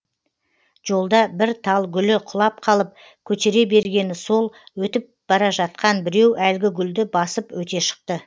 жолда бір тал гүлі құлап қалып көтере бергені сол өтіп бара жатқан біреу әлгі гүлді басып өте шықты